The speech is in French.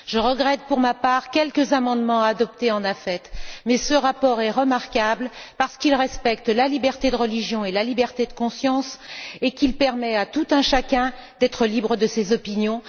Je regrette, pour ma part, quelques amendements adoptés au sein de la commission des affaires étrangères, mais ce rapport est remarquable en ce qu'il respecte la liberté de religion et la liberté de conscience et qu'il permet à tout un chacun d'être libre de ses opinions.